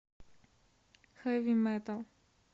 хэви метал